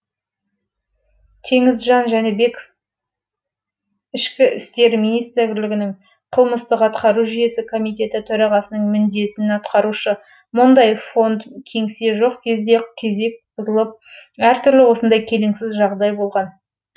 теңізжан жәнібеков ішкі істер министрлігі қылмыстық атқару жүйесі комитеті төрағасының міндетін атқарушы бұндай фронт кеңсе жоқ кезде кезек бұзылып әртүрлі осындай келеңсіз жағдай болған